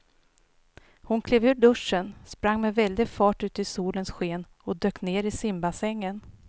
Hon klev ur duschen, sprang med väldig fart ut i solens sken och dök ner i simbassängen.